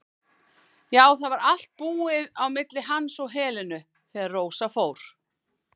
Já, það var allt búið á milli hans og Helenu þegar Rósa fór.